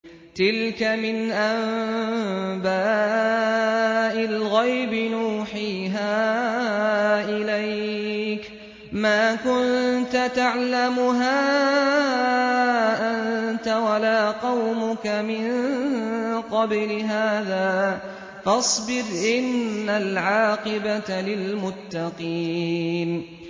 تِلْكَ مِنْ أَنبَاءِ الْغَيْبِ نُوحِيهَا إِلَيْكَ ۖ مَا كُنتَ تَعْلَمُهَا أَنتَ وَلَا قَوْمُكَ مِن قَبْلِ هَٰذَا ۖ فَاصْبِرْ ۖ إِنَّ الْعَاقِبَةَ لِلْمُتَّقِينَ